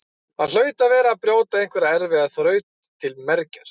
Hann hlaut að vera að brjóta einhverja erfiða þraut til mergjar.